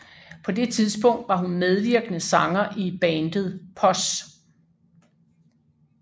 På det tidspunkt var hun medvirkende sanger i bandet POS